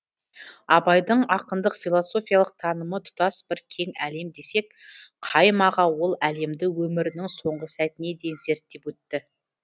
абайдың ақындық философиялық танымы тұтас бір кең әлем десек қайым аға ол әлемді өмірінің соңғы сәтіне дейін зерттеп өтті